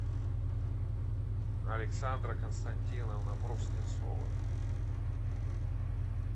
александра константиновна бруснецова